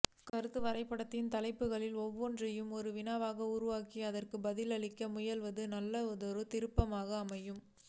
கருத்து வரைபடத்தின் தலைப்புகளில் ஒவ்வொன்றையும் ஒரு வினாவாக உருவாக்கி அதற்குப் பதிலளிக்க முயல்வதும் நல்லதொரு திருப்புதலாக அமையும்